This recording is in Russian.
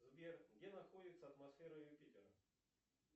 сбер где находится атмосфера юпитера